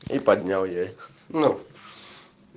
и поднял я ну